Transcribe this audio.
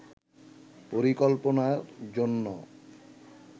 পরিকল্পনার জন্য